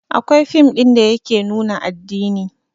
Akwai fin ɗin da yake nuna addini